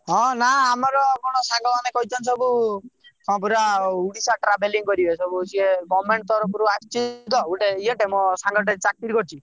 ହଁ ନା ଆମର କଣ ସାଙ୍ଗମାନେ କହିଛନ୍ତି ସବୁ କଣ ପୁରା ଓଡ଼ିଶା travelling କରିବେ କଣ ସବୁ government ତରଫ ରୁ ଆସିଛି ତ ଗୋଟେ ଇଏଟେ ମୋର ଗୋଟେ ସାଙ୍ଗଟେ ଚାକିରି କରିଛି ତ।